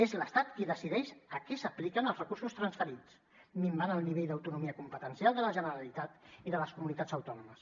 és l’estat qui decideix a què s’apliquen els recursos transferits i fa minvar el nivell d’autonomia competencial de la generalitat i de les comunitats autònomes